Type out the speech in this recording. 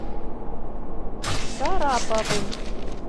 шараповым